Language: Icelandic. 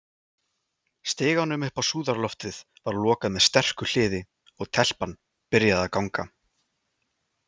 Stiganum upp á súðarloftið var lokað með sterku hliði, og- telpan byrjaði að ganga.